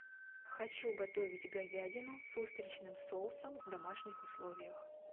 хочу готовить говядину с устричным соусом в домашних условиях